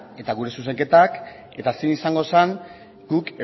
eta gure zuzenketak eta zein izango zen guk